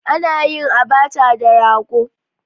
Ana yin Abacha da Rogo